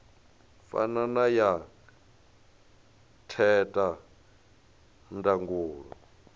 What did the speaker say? fana na ya theta ndangulo